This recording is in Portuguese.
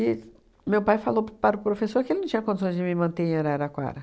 meu pai falou para o professor que ele não tinha condições de me manter em Araraquara.